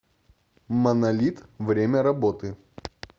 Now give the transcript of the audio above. монолит время работы